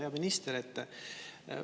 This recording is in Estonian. Hea minister!